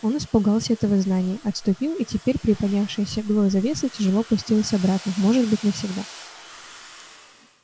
он испугался этого знания отступил и теперь приподнявшаяся было завеса тяжело опустилась обратно может быть навсегда